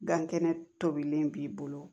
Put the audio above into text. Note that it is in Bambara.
Gan kɛnɛ tobilen b'i bolo